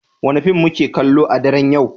Wane fim muke kallo a daren yau?